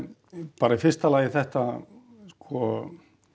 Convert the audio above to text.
bara í fyrsta lagi þetta sko